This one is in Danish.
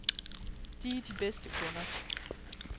De er de bedste kunder.